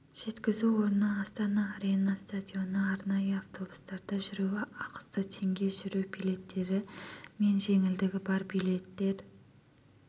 жеткізу орны астана арена стадионы арнайы автобустарда жүру ақысы теңге жүру билеттері мен жеңілдігі бар билеттер